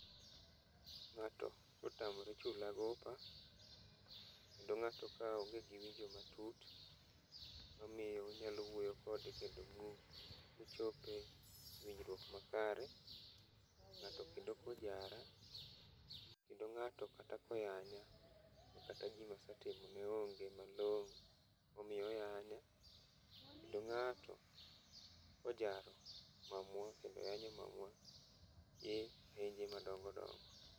Ng'ato kotamore chula gopa, kendo ng'ato ka onge gi paro matut, omiyo inyalo wuoyo kode kendo muchop e winjruok makare. Ng'ato kendo kojara, kendo ng'ato kata koyanya, kata gima asetimone onge malongo momiyo oyanya. Kendo ng'ato kojaro mamwa, kendo oyanyo mamwa e ayenje madongo dongo.